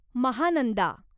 Mahananda